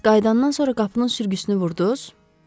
Bəs qayıdandan sonra qapının sürgüsünü vurdunuz?